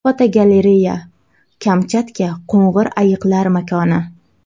Fotogalereya: Kamchatka qo‘ng‘ir ayiqlar makoni.